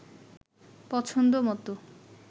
পছন্দ মতো